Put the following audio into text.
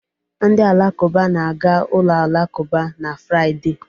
Ndị Alakụba na-aga ụlọ alakụba n'Fraịde.